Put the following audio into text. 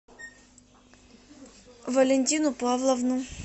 валентину павловну